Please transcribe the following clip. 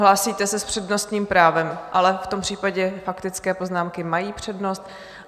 Hlásíte se s přednostním právem, ale v tom případě faktické poznámky mají přednost.